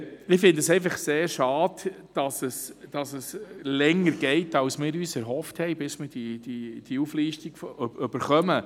Ich finde es einfach sehr schade, dass es, bis wir diese Auflistung erhalten, länger geht als wir uns erhofft haben.